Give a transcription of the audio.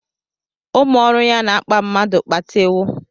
Ụmụ ọrụ ya na-akpa mmadụ kpatewọ